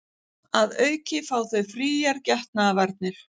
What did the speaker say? Að auki fá þau fríar getnaðarvarnir